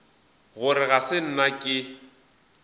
gore ga se nna ke